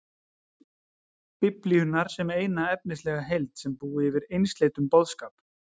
Biblíunnar sem eina efnislega heild sem búi yfir einsleitum boðskap.